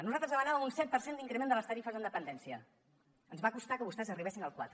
nosaltres demanàvem un set per cent d’increment de les tarifes en dependència ens va costar que vostès arribessin al quatre